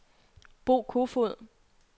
Bo Koefoed